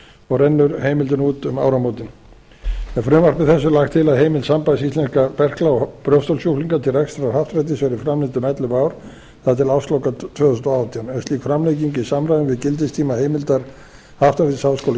og rennur heimildin út um áramótin með frumvarpi þessu er lagt til að heimild sambands íslenskra berkla og brjóstholssjúklinga til rekstrar happdrættis verði framlengd um ellefu ár það er til ársloka tvö þúsund og átján er slík framlenging í samræmi við gildistíma heimildar happdrættis háskóla